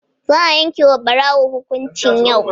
Za'a yanke wa ɓarawo hukuncin yau